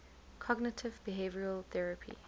cognitive behavioral therapy